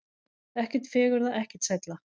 Ekkert fegurra, ekkert sælla.